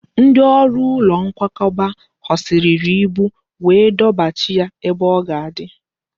Ndị ọrụ ụlọ nkwakọba ghọsịrịrị ibu wee dọbachaa ya ebe o ga-adị